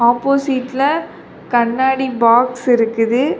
ஆப்போசிட்ல கண்ணாடி பாக்ஸ் இருக்குது.